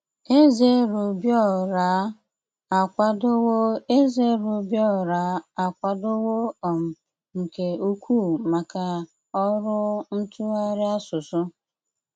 Ézé RÓbíóráá ákwádówó Ézé RÓbíóráá ákwádówó um nké úkwú mákà ọrụ ntúghárí ásụsụ.